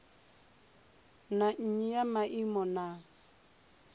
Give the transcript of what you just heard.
na nnyi ya maimo na